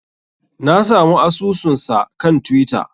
Na samu asusunsa kan twitter.